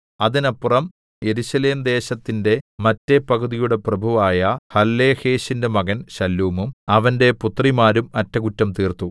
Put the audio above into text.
അതിനപ്പുറം യെരൂശലേം ദേശത്തിന്റെ മറ്റെ പകുതിയുടെ പ്രഭുവായ ഹല്ലോഹേശിന്റെ മകൻ ശല്ലൂമും അവന്റെ പുത്രിമാരും അറ്റകുറ്റം തീർത്തു